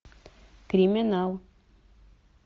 криминал